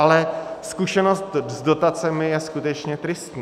Ale zkušenost s dotacemi je skutečně tristní.